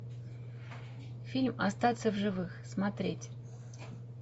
фильм остаться в живых смотреть